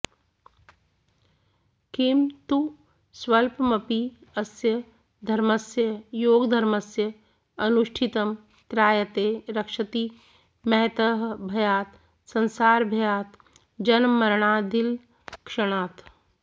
किं तु स्वल्पमपि अस्य धर्मस्य योगधर्मस्य अनुष्ठितं त्रायते रक्षति महतः भयात् संसारभयात् जन्ममरणादिलक्षणात्